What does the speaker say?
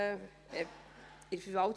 – Ich korrigiere mich: